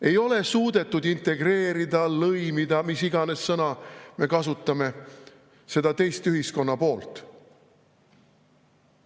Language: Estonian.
Ei ole suudetud integreerida, lõimida – mis iganes sõna me kasutame – seda teist ühiskonnapoolt.